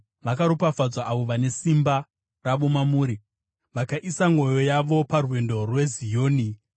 Vakaropafadzwa avo vane simba ravo mamuri, vakaisa mwoyo yavo parwendo rweZioni.